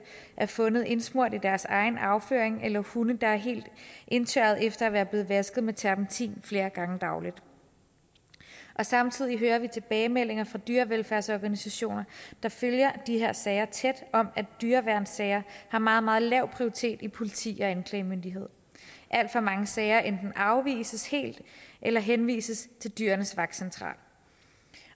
er fundet indsmurt i deres egen afføring eller hunde der er helt indtørrede efter at være blevet vasket med terpentin flere gange dagligt samtidig hører vi tilbagemeldinger fra dyrevelfærdsorganisationer der følger de her sager tæt om at dyreværnssager har meget meget lav prioritet hos politi og anklagemyndighed alt for mange sager enten afvises helt eller henvises til dyrenes vagtcentral